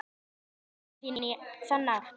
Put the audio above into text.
Þú nærð ekki að hefna þín á þann hátt.